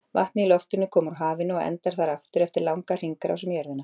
Vatnið í loftinu kom úr hafinu og endar þar aftur eftir langa hringrás um jörðina.